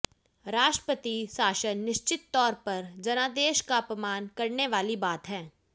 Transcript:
राष्ट्रपति शासन निश्चित तौर पर जनादेश का अपमान करने वाली बात है